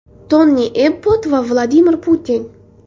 Toni Ebbott va Vladimir Putin.